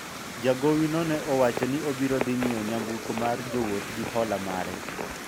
jagowi no ne owacho ni obiro dhi nyiewo nyamburko mar jowuoth gi hola mare